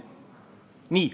Nii.